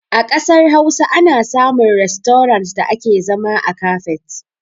A ƙasar Hausa ana samun rastorant da ake zama a kafet.